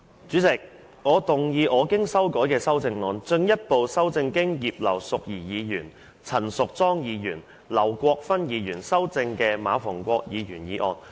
主席，我動議我經修改的修正案，進一步修正經葉劉淑儀議員、陳淑莊議員及劉國勳議員修正的馬逢國議員議案。